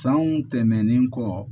Sanw tɛmɛnen kɔ